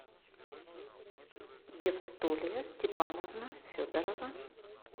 евстолия степановна федорова